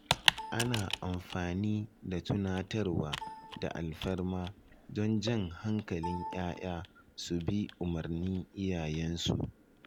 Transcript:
Ana amfani da tunatarwa da alfarma don jan hankalin ‘ya’ya su bi umarnin iyayensu.